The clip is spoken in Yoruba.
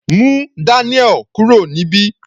Mú Daniel kúrò níbí.